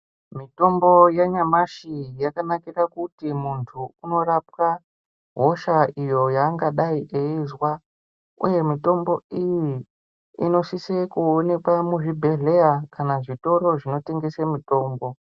Mitombo yenyamashi yakanakira kuti muntu unorapwa hosha iyo yaangadai eizwa uye mitombo iyi inosise kuonekwa muzvibhedhlera kana zvitoro zvinotengese mitombo.